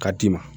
Ka d'i ma